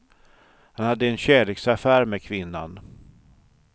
Han hade en kärleksaffär med kvinnan.